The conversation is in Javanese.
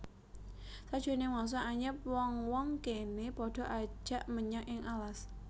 Sajroning mangsa anyep wong wong kéné padha ajag menjangan ing alas